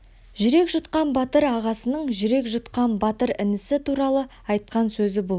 жүрек жұтқан батыр ағасының жүрек жұтқан батыр інісі туралы айтқан сөзі бұл